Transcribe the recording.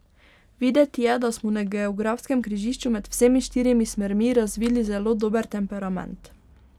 Videti je, da smo na geografskem križišču med vsemi štirimi smermi razvili zelo dober temperament.